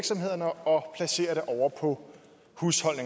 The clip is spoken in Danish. få